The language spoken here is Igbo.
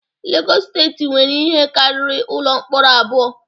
Legọs steeti nwere ihe karịrị ụlọ mkpọrọ abụọ